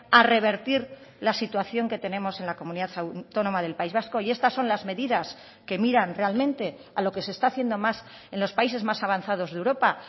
a revertir la situación que tenemos en la comunidad autónoma del país vasco y estas son las medidas que miran realmente a lo que se está haciendo más en los países más avanzados de europa